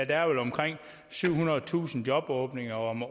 der er vel omkring syvhundredetusind jobåbninger om